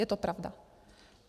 Je to pravda.